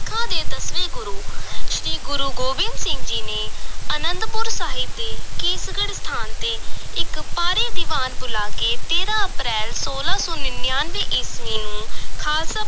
ਸਿੱਖਾਂ ਦੇ ਦਸਵੇਂ ਗੁਰੂ ਸ੍ਰੀ ਗੁਰੂ ਗੋਬਿੰਦ ਸਿੰਘ ਜੀ ਨੇ ਅਨੰਦਪੁਰ ਸਾਹਿਬ ਦੇ ਕੇਸਗੜ੍ਹ ਸਥਾਨ ਤੇ ਇਕ ਭਾਰੀ ਦੀਵਾਨ ਬੁਲਾ ਕੇ ਤੇਰਾਂ ਅਪ੍ਰੈਲ ਛੋਲਾਂ ਸੌ ਨੜ੍ਹਿਨਵੇਂ ਈਸਵੀ ਨੂੰ ਖ਼ਾਲਸਾ